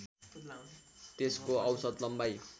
त्यसको औसत लम्बाइ